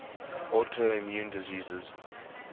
autoimmune diseases